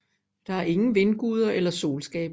Der er ingen vindguder eller solskabere